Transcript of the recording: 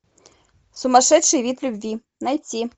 сумасшедший вид любви найти